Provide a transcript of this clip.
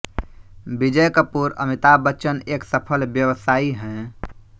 विजय कपूर अमिताभ बच्चन एक सफल व्यवसायी है